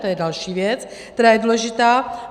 To je další věc, která je důležitá.